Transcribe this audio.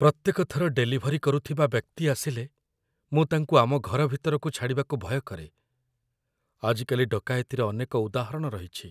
ପ୍ରତ୍ୟେକ ଥର ଡେଲିଭରି କରୁଥିବା ବ୍ୟକ୍ତି ଆସିଲେ, ମୁଁ ତାଙ୍କୁ ଆମ ଘର ଭିତରକୁ ଛାଡ଼ିବାକୁ ଭୟ କରେ। ଆଜିକାଲି ଡକାୟତିର ଅନେକ ଉଦାହରଣ ରହିଛି।